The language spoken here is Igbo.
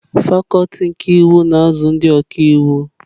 Fakuti nke iwu na-azụ ndị ọka iwu.